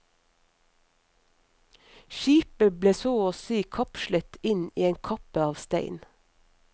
Skipet ble så å si kapslet inn i en kappe av stein.